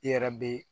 I yɛrɛ be